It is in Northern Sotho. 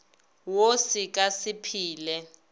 wo se ka se phele